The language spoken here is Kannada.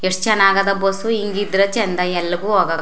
ಎಷ್ಟ ಚನ್ನಾಗದ್ ಬಸ್ಸು ಹಿಂಗ್ ಇದ್ರೇನೆ ಚಂದ್ ಎಲ್ಲವು.